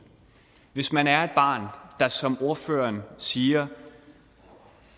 hvis man er et barn der som ordføreren siger